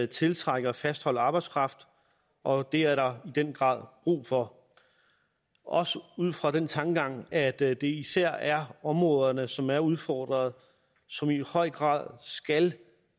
tiltrække og fastholde arbejdskraft og det er der i den grad brug for også ud fra den tankegang at at det især er områder som er udfordret som i høj grad skal